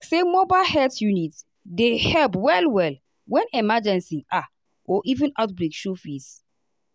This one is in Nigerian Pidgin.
like say mobile health unit dey help well-well when emergency ah or outbreak show face.